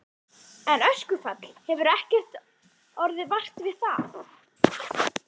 En öskufall, það hefur ekkert orðið vart við það?